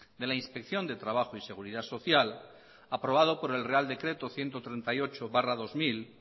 de la inspección de trabajo y seguridad social aprobado por el real decreto ciento treinta y ocho barra dos mil